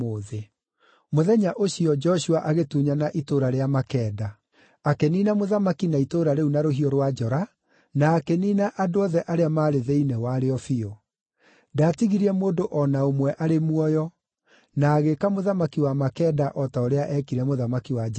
Mũthenya ũcio, Joshua agĩtunyana itũũra rĩa Makeda; akĩniina mũthamaki na itũũra rĩu na rũhiũ rwa njora, na akĩniina andũ othe arĩa maarĩ thĩinĩ warĩo biũ. Ndaatigirie mũndũ o na ũmwe arĩ muoyo; na agĩĩka mũthamaki wa Makeda o ta ũrĩa eekire mũthamaki wa Jeriko.